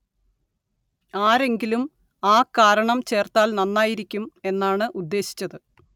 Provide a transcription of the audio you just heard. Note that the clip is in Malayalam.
ആരെങ്കിലും ആ കാരണം ചേര്‍ത്താല്‍ നന്നായിരിക്കും എന്നാണ് ഉദ്ദേശിച്ചത്